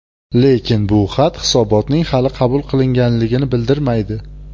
Lekin bu xat hisobotning hali qabul qilinganligini bildirmaydi.